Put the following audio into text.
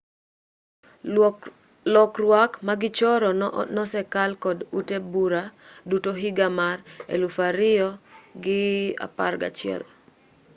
lokruak magichoro no nosekal kod ute bura duto higa mar 2011